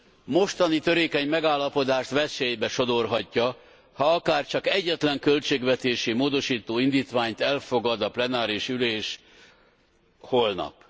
A mostani törékeny megállapodást veszélybe sodorhatja, ha akárcsak egyetlen költségvetési módosító indítványt elfogad a plenáris ülés holnap.